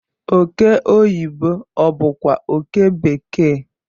oke oyibo obu kwa oke bekee?